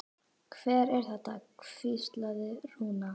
Hver er þetta? hvíslaði Rúna.